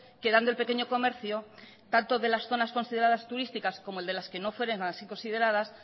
quedando el pequeño comercio tanto de las zonas consideradas turísticas como el de las que no fueren así consideradas